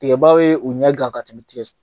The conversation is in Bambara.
Tigɛbaw ye u ɲɛ gan ka tɛmɛ tigɛ su